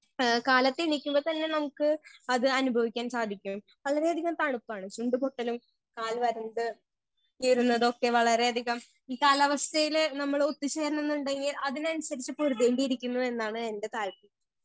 Speaker 1 ഏ കാലത്തേ എണീക്കുമ്പോൾ തന്നെ നമുക്ക് അത് അനുഭവിക്കാൻ സാധിക്കും വളരെ അധികം തണുപ്പാണ് ചുണ്ട് പൊട്ടലും കാൽ വരണ്ട് കീറുന്നതൊക്കെ വളരെ അധികം കാലാവസ്ഥയില് നമ്മളൊത്ത് ചേരണംന്നുണ്ടെങ്കി അതിനനുസരിച്ച് പൊരുതേണ്ടി ഇരിക്കുന്നൂ എന്നാണ് എന്റെ .